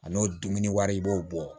A n'o dumuni wari i b'o bɔ